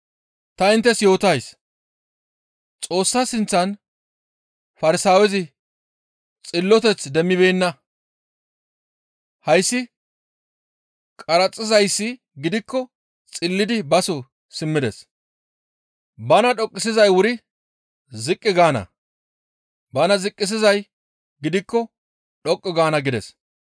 «Ta inttes yootays; Xoossa sinththan Farsaawezi xilloteth demmibeenna; hayssi qaraxizayssi gidikko xillidi baso simmides; bana dhoqqisizay wuri ziqqi gaana; bana ziqqisizay gidikko dhoqqu gaana» gides.